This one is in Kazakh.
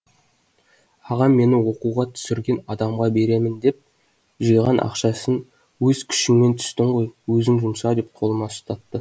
ағам мені оқуға түсірген адамға беремін деп жиған ақшасын өз күшіңмен түстің ғой өзің жұмса деп қолыма ұстатты